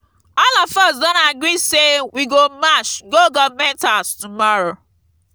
all of us don agree say we go march go government house tomorrow